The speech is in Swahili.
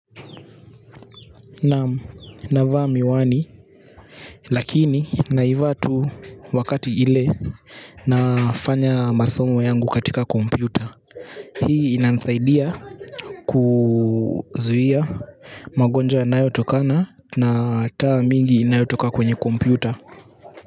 Naam navaa miwani lakin naivaa tu wakati ile nafanya masomo yangu katika kompyuta hii inasaidia kuzuia magonjwa yanayotokana na taa mingi inayotoka kwenye kompyuta.